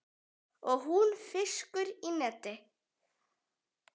Og hún fiskur í neti.